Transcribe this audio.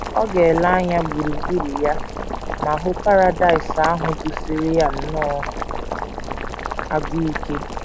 Ọ ga - ele anya gburugburu ya ma hụ Paradaịs ahụ gụsiri ya nnọọ agụụ ike....